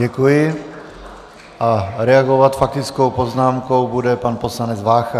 Děkuji a reagovat faktickou poznámkou bude pan poslanec Vácha.